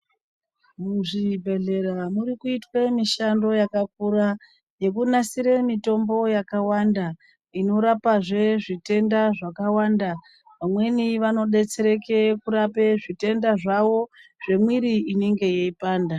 Muzvibhedhlera muri kuitwe mishando yakakura yekunasire mitombo yakawanda inorapezve zvitenda zvakawanda vamweni vanodetsereke kurape zvitenda zvavo zvemwiri inenge yeipanda.